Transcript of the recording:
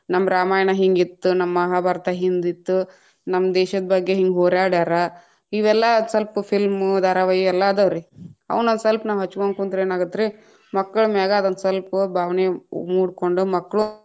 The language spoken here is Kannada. ನಮ್ಮ ರಾಮಾಯಣ ಹಿಂಗಿತ್ತ್ ನಮ್ಮ ಮಹಾಭಾರತ ಹಿಂದಿತ್ತು, ನಮ್ಮ ದೇಶದ್‌ ಬಗ್ಗೆ ಹಿಂಗ್‌ ಹೋರ್ಯಾಡ್ಯಾರ, ಇವೆಲ್ಲಾ ಸ್ವಲ್ಪ film ಧಾರಾವಾಹಿ ಎಲ್ಲಾ ಅದಾವ್ರೀ ಅವನ್ನೊಂದಸಲ್ಪ ನಾವ್‌ ಹಚಗೊಂಡ ಕುಂತ್ರೇನಾಗತ್ರೀ ಮಕ್ಕಳ ಮ್ಯಾಗ ಅದೊಂದ ಸ್ವಲ್ಪು ಭಾವನೆ ಮೂಡಕೊಂಡ ಮಕ್ಕಳು.